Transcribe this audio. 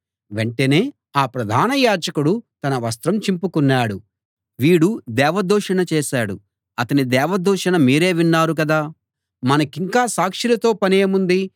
వెంటనే ఆ ప్రధాన యాజకుడు తన వస్త్రం చింపుకున్నాడు వీడు దేవదూషణ చేశాడు అతని దేవదూషణ మీరే విన్నారు కదా మనకింక సాక్షులతో పనేముంది